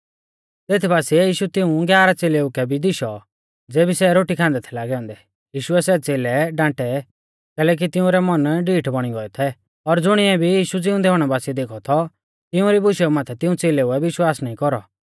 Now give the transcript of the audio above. तेत बासिऐ यीशु तिऊं ग्यारह च़ेलेउ कै भी दिशौ ज़ेबी सै रोटी खान्दै थै लागै औन्दै यीशुऐ सै च़ेलै डांटै कैलैकि तिंउरै मन डीठ बौणी गोऐ थै और ज़ुणिऐ भी यीशु ज़िउंदै हुणै बासिऐ देखौ थौ तिउंरी बुशेऊ माथै तिऊं च़ेलेउऐ विश्वास नाईं कौरौ